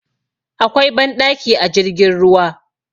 Akwai banɗaki a jirgin ruwa